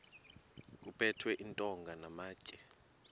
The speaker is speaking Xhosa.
kuphethwe iintonga namatye